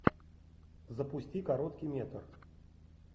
запусти короткий метр